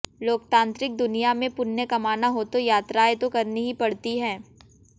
लोकतांत्रिक दुनिया में पुण्य कमाना हो तो यात्राएं तो करनी ही पड़ती हैं